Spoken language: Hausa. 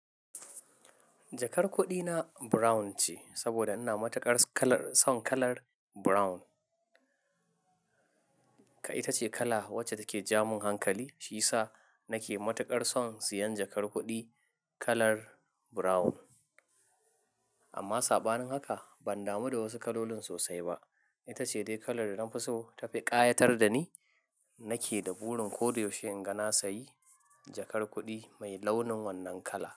Jakar kuɗina brown ce sabida ina matuƙar son kalar brown. Kai ita ce kala wacce take ja mun hankali, shi yasa nake matuƙar son siyan jakar kuɗi kalar brown. Amma saɓanin haka ban damu da wasu kalolin sosai ba. Itace dai kalar da nafi so ta fi ƙayatar da ni. Nake da burin koda yaushe inga na sayi jakar kuɗi mai launin wannan kala.